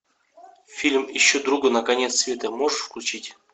фильм ищу друга на конец света можешь включить